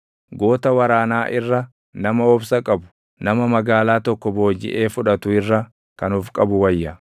Goota waraanaa irra nama obsa qabu, nama magaalaa tokko boojiʼee fudhatu irra kan of qabu wayya.